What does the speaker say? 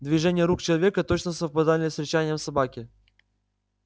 движения рук человека точно совпадали с рычанием собаки